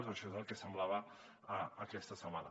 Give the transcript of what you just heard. o això és el que semblava aquesta setmana